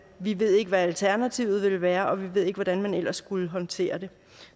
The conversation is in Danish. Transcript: vi ved ikke hvad alternativet ville være og vi ved ikke hvordan man ellers skulle håndtere det